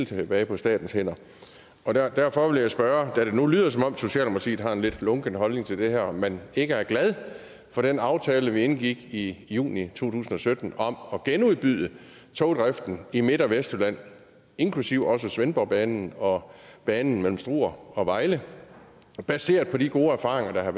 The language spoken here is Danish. tilbage på statens hænder derfor vil jeg spørge når det nu lyder som om socialdemokratiet har en lunken holdning til det her om man ikke er glad for den aftale vi indgik i juni to tusind og sytten om at genudbyde togdriften i midt og vestjylland inklusive svendborgbanen og banen mellem struer og vejle baseret på de gode erfaringer